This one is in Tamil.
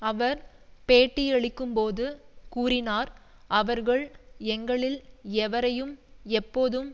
அவர் பேட்டியளிக்கும்போது கூறினார் அவர்கள் எங்களில் எவரையும் எப்போதும்